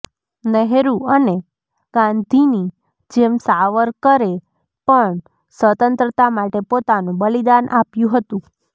નેહરુ અને ગાંધીની જેમ સાવરકરે પણ સ્વતંત્રતા માટે પોતાનું બલિદાન આપ્યું હતું